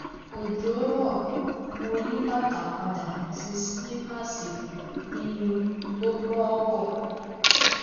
òjò rò mo yí bàtà padà sí sílípáàsì kí n tó bọ ọkọ